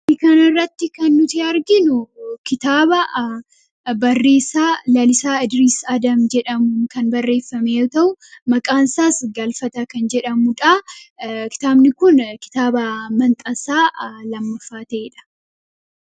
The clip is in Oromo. daikaanirratti kan nuti arginu kitaaba barreessaa Lalisaa ldriis adam jedhamuun kan barreeffamee yommuu ta'u maqaansaas galfataa kan jedhamu kitaabni kun kitaaba manxasaa lammafaa ta'ee dha